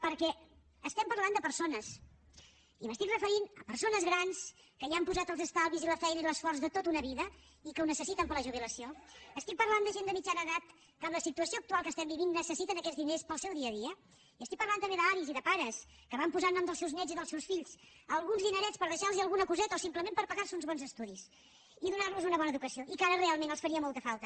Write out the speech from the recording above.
perquè parlem de persones i em refereixo a persones grans que hi han posat els estalvis i la feina i l’esforç de tota una vida i que ho necessiten per a la jubilació parlo de gent de mitjana edat que amb la situació actual que vivim necessiten aquests diners per al seu dia a dia i parlo també d’avis i de pares que van posar a nom dels seus néts i dels seus fills alguns dinerets per deixar los alguna coseta o simplement per pagar los uns bons estudis i donar los una bona educació i que ara realment els farien molta falta